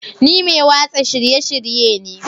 Ni mai watsa shirye-shirye ne